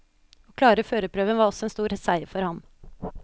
Å klare førerprøven var også en stor seier for ham.